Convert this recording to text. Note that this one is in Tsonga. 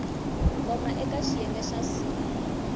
koma eka xiyenge xa c